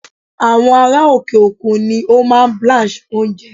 Àwọn ará òkè-òkun ni ó máa ń blanch oúnjẹ.